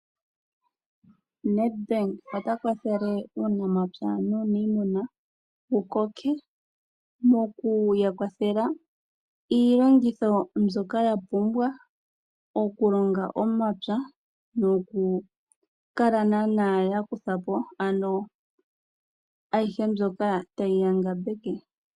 Nedbank ota kwathele uunamapya nuniimuna wukoke, mokuya kwathela iilongitho mbyoka yapumbwa, okulonga momapya, nokukala yakutha po ayihe mbyoka tayi ya ngambeke.